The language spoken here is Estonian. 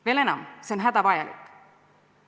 Veel enam, see on hädavajalik.